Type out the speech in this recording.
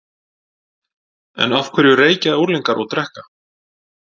En af hverju reykja unglingar og drekka?